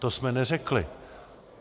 To jsme neřekli.